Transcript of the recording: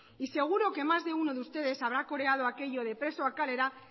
y seguro que más de uno de ustedes habrá coreado aquello de presoak kalera